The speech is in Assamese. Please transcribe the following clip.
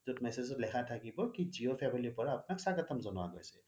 যত message ত লিখা থাকিব কি জিঅ' family পৰা আপোনাক স্বাগতম জনোৱা হৈছে